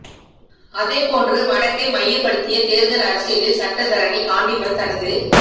அதே போன்று வடக்கை மையப்படுத்திய தேர்தல் அரசியலில் சட்டத்தரணி காண்டீபன் தனது